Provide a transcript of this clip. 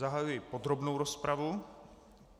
Zahajuji podrobnou rozpravu.